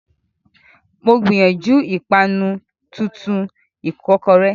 Mo gbìyànjú ìpanu tuntun ìkọ́kọrẹ́.